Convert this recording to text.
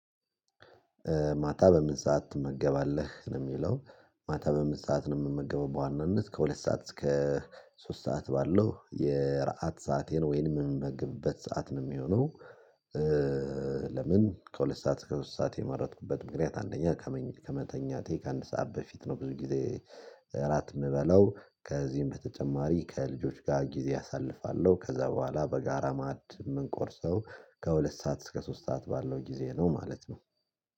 ማታ በምን ሰዓት ትመገባለህ ነው የሚለው ማታ በምን ሰዓት ነው የምመገበው በዋናነት ከሁለት ሰዓት እስከ ሶስት ሰዓት ባለው የራአት ሰአቴን ወይንም የምመግብበት ሰዓት ነው የሚሆነው። ለምን ከሁለት ሰዓት እስከ ሶስት ሰዓት የመረጥኩበት ምክንያት አንደኛ ከመተኛቴ ከአንድ ሰዓት በፊት ነው ብዙ ጊዜ እራት የምበላው ከዚህም በተጨማሪ ከልጆች ጋር ጊዜ አሳልፋለሁ ከዛ በኋላ በጋራ ማዕድ የምንቆርሰው ከሁለት ሰዓት እስከ ሶስት ሰዓት ባለው ጊዜ ነው ማለት ነው